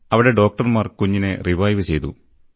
അവിടെ ഡോക്ടർമാർ കുഞ്ഞിന്റെ ജീവൻ വീണ്ടെടുത്തു